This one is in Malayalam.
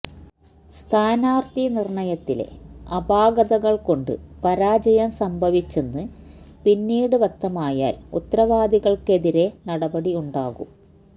സ്ഥാനാര്ഥി നിര്ണയത്തിലെ അപാകതകള് കൊണ്ട് പരാജയം സംഭവിച്ചെന്ന് പിന്നീട് വ്യക്തമായാല് ഉത്തരവാദികള്ക്കെതിരേ നടപടി ഉണ്ടാകും